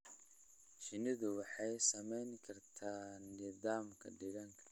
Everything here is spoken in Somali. Shinnidu waxay saamayn kartaa nidaamka deegaanka.